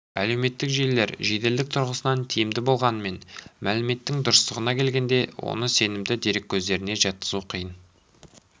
әлеуметтік желілер жеделдік тұрғысынан тиімді болғанымен мәліметтің дұрыстығына келгенде оны сенімді дереккөздеріне жатқызу қиын